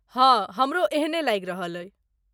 हाँ, हमरो एहने लागि रहल अछि।